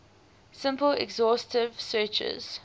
simple exhaustive searches